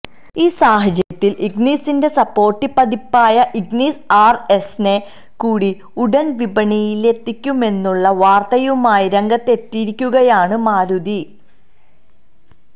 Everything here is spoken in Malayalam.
ഈ സാഹചര്യത്തിൽ ഇഗ്നിസിന്റെ സ്പോർടി പതിപ്പായ ഇഗ്നിസ് ആർഎസിനെ കൂടി ഉടൻ വിപണിയിലെത്തിക്കുമെന്നുള്ള വാർത്തയുമായി രംഗത്തെത്തിയിരിക്കുകയാണ് മാരുതി